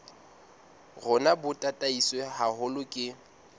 rona bo tataiswe haholo ke